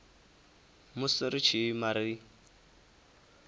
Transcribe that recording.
musi ri tshi ima ri